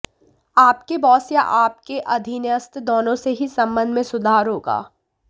आपके बॉस या आपके अधीनस्थ दोनों से ही संबंध में सुधार होगा